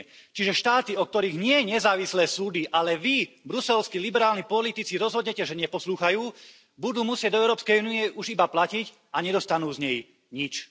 Čiže štáty, o ktorých nie nezávislé súdy, ale vy, bruselskí liberálni politici, rozhodnete, že neposlúchajú, budú musieť do EÚ už iba platiť, a nedostanú z nej nič.